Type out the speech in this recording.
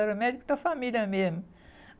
Era médico da família mesmo.